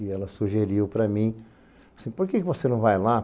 E ela sugeriu para mim, assim, por que você não vai lá?